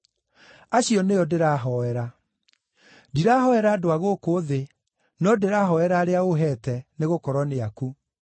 Acio nĩo ndĩrahoera. Ndirahoera andũ a gũkũ thĩ, no ndĩrahoera arĩa ũũheete, nĩgũkorwo nĩ aku.